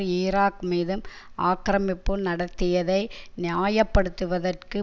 Iraq மீதும் ஆக்கிரமிப்பு நடத்தியதை நியாய படுத்துவதற்கு